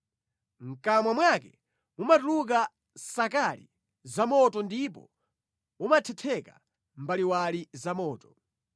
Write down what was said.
Mʼkamwa mwake mumatuluka nsakali zamoto ndipo mumathetheka mbaliwali zamoto.